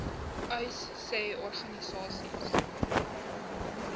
uys sê organisasies